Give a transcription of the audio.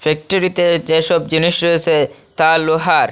ফ্যাক্টরিতে যে সব জিনিস রয়েছে তা লোহার।